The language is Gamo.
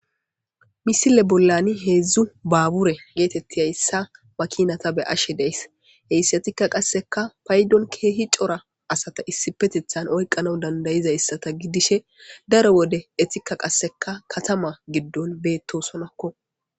Misile bollani heedzdzu baabure geetetti hayssa makinata be ashe deys heyssetikka qasseka paydon keehi cora asata issi petethan oykqana dandayizayssata gidishe daro wode etikka qasseka katama giddon beettosonakko